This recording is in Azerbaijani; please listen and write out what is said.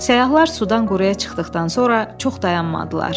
Səyyahlar sudan quruya çıxdıqdan sonra çox dayanmadılar.